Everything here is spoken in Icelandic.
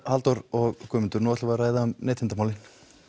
Halldór og Guðmundur nú tölum við um neytendamálin